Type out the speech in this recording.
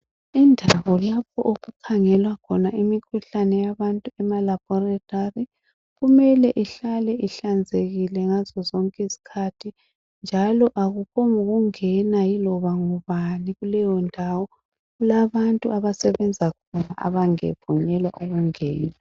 Indawo lapho okukhangelwa khona imikhuhlane yabantu emalabholithali, kumele ihlale ihlanzekile ngazozonke izikhathi, njalo akupho ngokungena yiloba ngubani, kuleyo ndawo. Kulabantu abasebenza khona abavunyelwa ukungena.